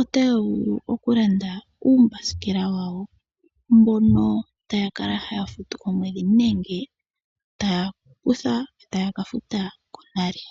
otaya vulu okulanda uumbasikela wawo mbono taya kala haya futu komwedhi nenge taya kutha yo taya ka futa konale.